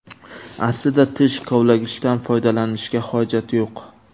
Aslida tish kovlagichdan foydalanishga hojat yo‘q.